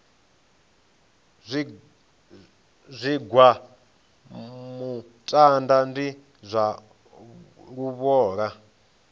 zwigwa muṱaḓa ndi zwa luvhola